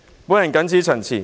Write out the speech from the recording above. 我謹此陳辭。